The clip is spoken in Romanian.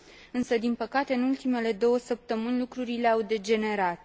Însă, din păcate, în ultimele două săptămâni lucrurile au degenerat.